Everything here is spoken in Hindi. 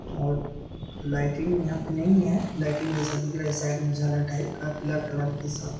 और लाइटिंग यहाँ पे नही है लाइटिंग जैसा दिख रहा है साइड मे झालर टाइप का पीला कलर के साथ।